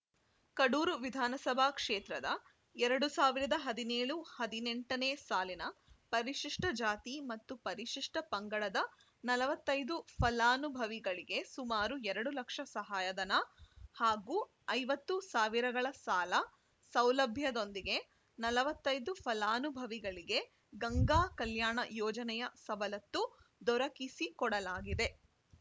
ಕಡೂರು ವಿಧಾನಸಭಾ ಕ್ಷೇತ್ರದ ಎರಡ್ ಸಾವಿರದ ಹದಿನೇಳು ಹದಿನೆಂಟನೇ ಸಾಲಿನ ಪರಿಶಿಷ್ಟಜಾತಿ ಮತ್ತು ಪರಿಶಿಷ್ಟಪಂಗಡದ ನಲವತ್ತ್ ಐದು ಫಲಾನುಭವಿಗಳಿಗೆ ಸುಮಾರು ಎರಡು ಲಕ್ಷ ಸಹಾಯಧನ ಹಾಗೂ ಐವತ್ತು ಸಾವಿರಗಳ ಸಾಲ ಸೌಲಭ್ಯದೊಂದಿಗೆ ನಲವತ್ತ್ ಐದು ಫಲಾನುಭವಿಗಳಿಗೆ ಗಂಗಾ ಕಲ್ಯಾಣ ಯೋಜನೆಯ ಸವಲತ್ತು ದೊರಕಿಸಿಕೊಡಲಾಗಿದೆ